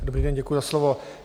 Dobrý den, děkuji za slovo.